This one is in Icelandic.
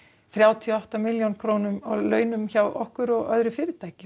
þrjátíu og átta milljón krónum á launum hjá okkur og öðru fyrirtæki